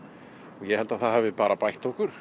ég held að það hafi bara bætt okkur